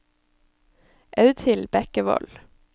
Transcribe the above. Audhild Bekkevold